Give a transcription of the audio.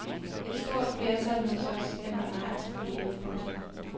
Et stort flertal hos os stemmer nej til forliget. punktum